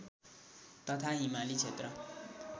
तथा हिमाली क्षेत्र